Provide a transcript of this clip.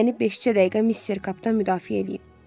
Məni beşcə dəqiqə Misser Kapitan müdafiə eləyin.